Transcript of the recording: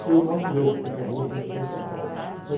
Foi o nosso erro que acabou a tradição de São Paulo.